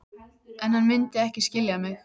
En hann mundi ekki skilja mig.